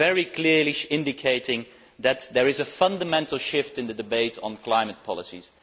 This very clearly indicates that there is a fundamental shift in the debate on climate policies.